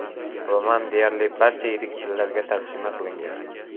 Roman deyarli barcha yirik tillarga tarjima qilingan.